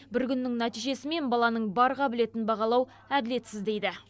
бір күннің нәтижесімен баланың бар қабілетін бағалау әділетсіз дейді